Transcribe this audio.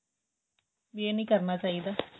ਵੀ ਏਹ ਨਹੀਂ ਕਰਨਾ ਚਾਹੀਦਾ